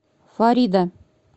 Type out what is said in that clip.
фарида